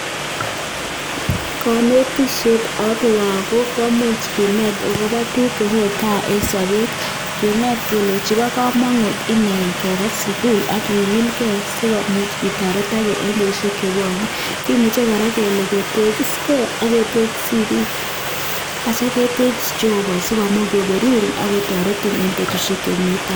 Konetishet ak lagok komuch kinet agoba tuguk che tesetai en sobet, kinet kelenchi bo komonut ine ingeba sugul ak kigilge si komuch itoretoge en betushek che bwone, kimuche kora kele ketegisge ak ketegis sigik asi ketegis Jehova asi komuch koberurin ago toretin en betushek che mi tai